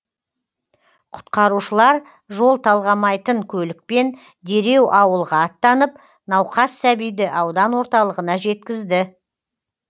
құтқарушылар жол талғамайтын көлікпен дереу ауылға аттанып науқас сәбиді аудан орталығына жеткізді